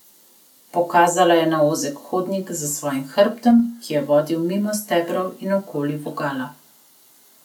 Pokazala je na ozek hodnik za svojih hrbtom, ki je vodil mimo stebrov in okoli vogala.